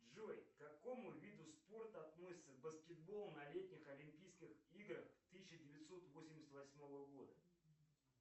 джой к какому виду спорта относится баскетбол на летних олимпийских играх тысяча девятьсот восемьдесят восьмого года